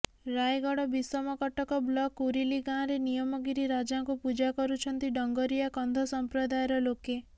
Rayagada Bissamcuttack block Kurili ଗାଁରେ ନିୟମଗିରି ରାଜାଙ୍କୁ ପୂଜା କରୁଛନ୍ତି ଡଙ୍ଗରିଆ କନ୍ଧ ସମ୍ପ୍ରଦାୟର ଲୋକେ